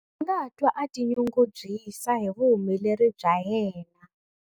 A nga twa a tinyungubyisa hi vuhumeleri bya yena.